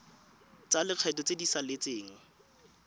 tsa lekgetho tse di saletseng